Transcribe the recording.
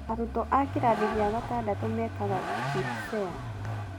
Arutwo a kĩrathi gĩa gatandatũ mekaga KPSEA.